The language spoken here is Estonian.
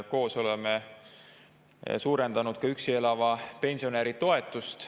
Koos oleme suurendanud ka üksi elava pensionäri toetust.